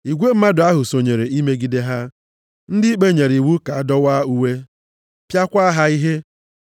Igwe mmadụ sonyere imegide ha. Ndị ikpe nyere iwu ka a dọwaa uwe, + 16:22 Ya bụ gbaa ha ọtọ pịakwa ha ihe.